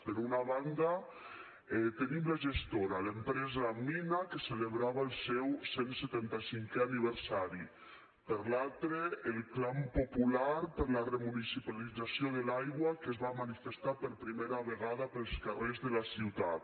per una banda tenim la gestora l’empresa mina que celebrava seu cent setanta cinquè aniversari per l’altra el clam popular per la remunicipalització de l’aigua que es va manifestar per primera vegada pels carrers de la ciutat